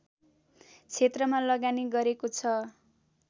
क्षेत्रमा लगानी गरेको छ